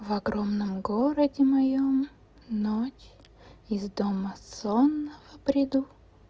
в огромном городе моём ночь из дома сонного приду